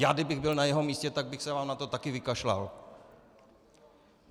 Já kdybych byl na jeho místě, tak bych se vám na to také vykašlal.